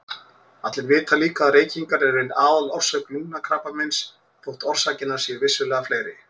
Allir vita líka að reykingar eru ein aðalorsök lungnakrabbameins þótt orsakirnar séu vissulega fleiri.